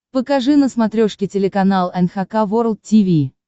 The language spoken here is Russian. покажи на смотрешке телеканал эн эйч кей волд ти ви